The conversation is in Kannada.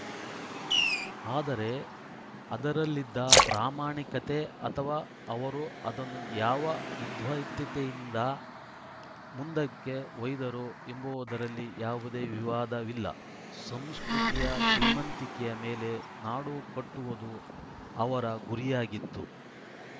ಆದರೆ ಅದರಲ್ಲಿದ್ದ ಪ್ರಾಮಾಣಿಕತೆ ಅಥವಾ ಅವರು ಅದನ್ನು ಯಾವ ವಿದ್ವತ್ತೆಯಿಂದ ಮುಂದಕ್ಕೆ ಒಯ್ದರು ಎಂಬುದರಲ್ಲಿ ಯಾವುದೇ ವಿವಾದವಿಲ್ಲ ಸಂಸ್ಕೃತಿಯ ಶ್ರೀಮಂತಿಕೆಯ ಮೇಲೆ ನಾಡು ಕಟ್ಟುವುದು ಅವರ ಗುರಿಯಾಗಿತ್ತು